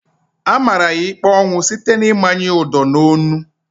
A mara ya ikpe ọnwụ site n'ịmanye ya Udo na onu